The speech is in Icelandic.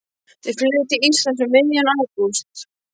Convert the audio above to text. Þau flugu til Íslands um miðjan ágúst.